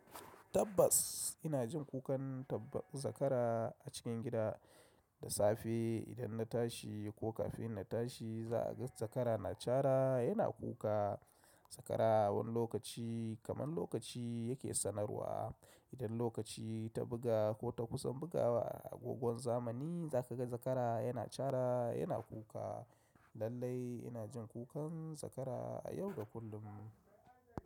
Tabbas ina jin kukan zakara a cikin gida da safe idan na tashi ko kafin na tashi za a ga zakara na cara yana kuka. Zakara wani lokaci kamar lokaci yake sanarwa. Idan lokaci ta buga ko ta kusan bugawa agogon zamani za ka ga zakara yana cara yana kuka. Lallai ina jin kukan zakara a yau da kullum.